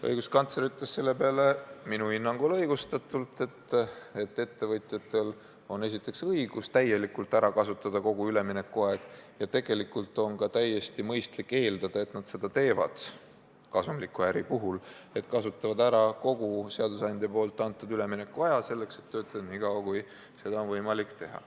Õiguskantsler ütles selle peale minu hinnangul õigustatult, et ettevõtjatel on esiteks õigus täielikult ära kasutada kogu üleminekuaeg ja teiseks on ka täiesti mõistlik eeldada, et nad kasumliku äri puhul kasutavad ära kogu seadusandja antud üleminekuaja, et töötada nii kaua, kui seda on võimalik teha.